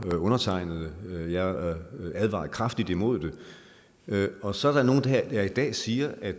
undertegnede jeg advarede kraftigt imod det og så er der nogle der her i dag siger at